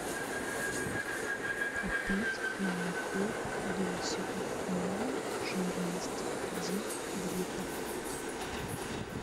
купить молоко лосево малой жирности один литр